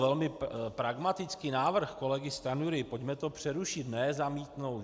Velmi pragmatický návrh kolegy Stanjury - pojďme to přerušit, ne zamítnout.